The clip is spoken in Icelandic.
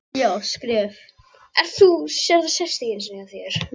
ekki þessa vitleysu, svaraði Stefán í ergilega tóninum.